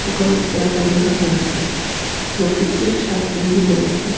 দোকানের ভিতরে একটা লোক দেখা যাচ্ছে লোকটি চেক শার্ট গেঞ্জি পড়ে আছে.